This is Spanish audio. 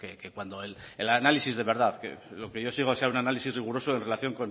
que cuando el análisis de verdad lo que yo sigo sea un análisis riguroso en relación